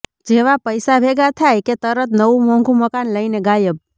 જેવા પૈસા ભેગા થાય કે તરત નવું મોંઘુ મકાન લઈને ગાયબ